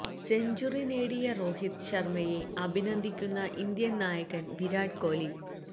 century നേടിയ രോഹിത് ശർമയെ അഭിനന്ദിക്കുന്ന ഇന്ത്യൻ നായകൻ വിരാട് കോഹ്ലി